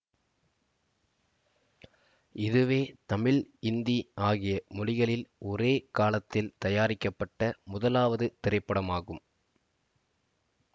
இதுவே தமிழ் இந்தி ஆகிய மொழிகளில் ஒரே காலத்தில் தயாரிக்கப்பட்ட முதலாவது திரைப்படம் ஆகும்